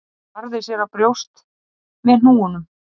Hún barði sér á brjóst með hnúunum